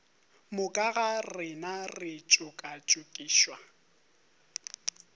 moka ga rena re tšokatšokišwa